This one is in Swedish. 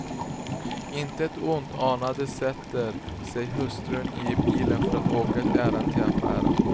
Intet ont anande sätter sig hustrun i bilen för att åka ett ärende till affären.